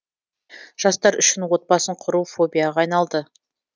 жастар үшін отбасын құру фобияға айналды